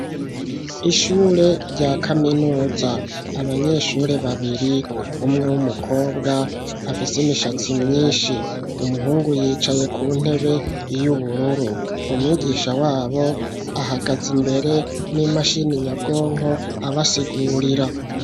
Ishure rya kaminuza, abanyeshure babiri, umwe w'umukobwa, afise imishatsi myinshi; umuhungu yicaye ku ntebe y'ubururu, umwigisha wabo, ahagaze imbere, n'imashini nyabwonko, abasigurira.